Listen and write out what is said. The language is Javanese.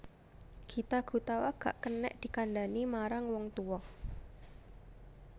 Gita Gutawa gak kenek dikandhani marang wong tuwa